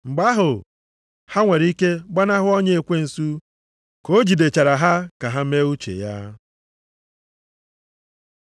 Mgbe ahụ, ha nwere ike gbanahụ ọnya ekwensu, ka o jidechara ha ka ha mee uche ya.